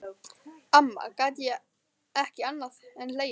Amma gat ekki annað en hlegið.